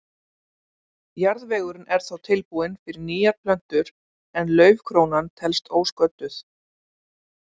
Jarðvegurinn er þá tilbúinn fyrir nýjar plöntur en laufkrónan helst ósködduð.